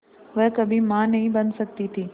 वह कभी मां नहीं बन सकती थी